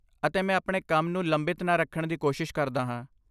ਅਤੇ ਮੈਂ ਆਪਣੇ ਕੰਮ ਨੂੰ ਲੰਬਿਤ ਨਾ ਰੱਖਣ ਦੀ ਕੋਸ਼ਿਸ਼ ਕਰਦਾ ਹਾਂ।